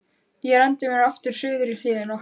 Ég renndi mér aftur suður í hlíðina.